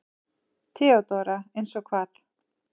THEODÓRA: Eins og hvað?